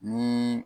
Ni